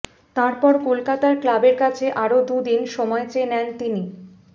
তারপর কলকাতার ক্লাবের কাছে আরও দু দিন সময় চেয়ে নেন তিনি